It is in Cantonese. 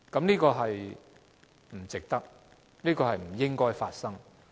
這是不值得的，亦不應該發生。